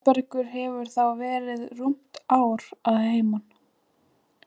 Þórbergur hefur þá verið rúmt ár að heiman.